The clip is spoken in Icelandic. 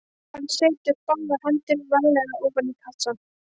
Hann setur báðar hendur varlega ofan í kassann.